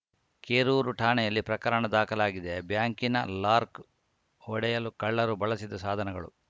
ಕೆರೂರು ಠಾಣೆಯಲ್ಲಿ ಪ್ರಕರಣ ದಾಖಲಾಗಿದೆ ಬ್ಯಾಂಕಿನ ಲಾರ್ಕ್ ಒಡೆಯಲು ಕಳ್ಳರು ಬಳಸಿದ ಸಾಧನಗಳು